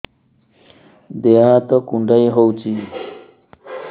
ଦେହ ହାତ କୁଣ୍ଡାଇ ହଉଛି